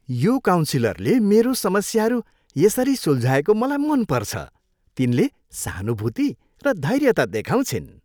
यो काउन्सिलरले मेरो समस्याहरू यसरी सुल्झाएको मलाई मनपर्छ। तिनले सहानुभूति र धैर्यता देखाउँछिन्।